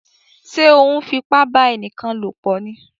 Ṣe o nfipa ba ẹnikan lopọ ní?